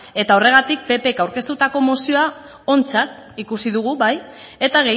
eta horregatik ppk aurkeztutako mozioa ontzat ikusi dugu bai eta